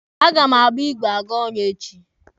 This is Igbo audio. A ga m agba igwe aga ọrụ echi.